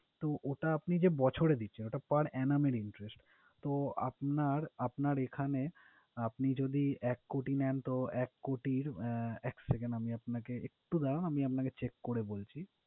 তো ওটা আপনি যে বছরে দিচ্ছেন ওটা per annum interest তো আপনার~আপনার এখানে আপনি যদি এক কোটি নেন তো, এক কোটির আহ এক second আমি আপনাকে একটু দাঁড়ান আমি আপনাকে check করে বলছি।